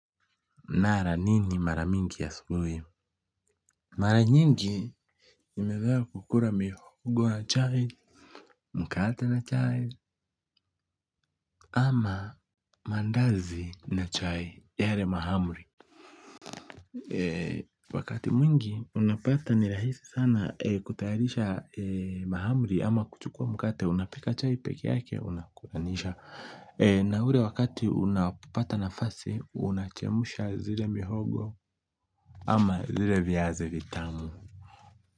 Nala nini maramingi ya asubuhi? Mara nyingi nimeweza kukula mihogo na chai mkate na chai ama mandazi na chai yale mahamri wakati mwingi unapata ni rahisi sana kutayarisha mahamri ama kuchukua mkate unapika chai pekeyake unakulanisha na ule wakati unapata nafasi unachemsha zile mihogo ama zile viazi vitamu.